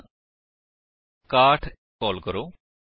ਹੁਣ 61 ਕਾਲ ਕਰੋ